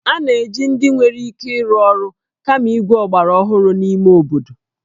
A na-eji ndị nwere ike ịrụ ọrụ kama igwe ọgbaraọhụrụ n'ime obodo